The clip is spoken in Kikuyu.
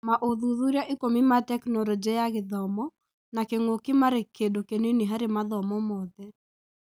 Maũthuthuria ikũmi ma Tekinoronjĩ ya Gĩthomo na kĩng'ũki marĩ kĩndũ kĩnini harĩ mathomo mothe.